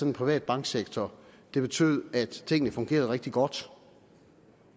en privat banksektor betød at tingene fungerede rigtig godt